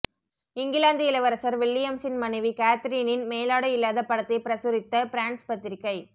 இங்கிலாந்து இளவரசர் வில்லியம்ஸின் மனைவி கேத்ரீனின் மேலாடை இல்லாத படத்தை பிரசுரித்த பிரான்ஸ் பத்திரிக்கை